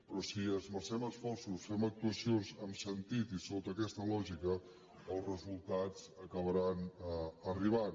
però si hi esmercem esforços fem actuacions amb sentit i sota aquesta lògica els resultats acabaran arribant